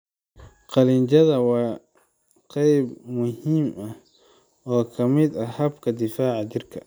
Qanjidhaha waa qayb muhiim ah oo ka mid ah habka difaaca jirka.